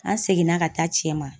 An seginna ka taa cɛ ma